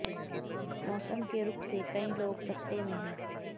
मौसम के रुख से कई लोग सकते में हैं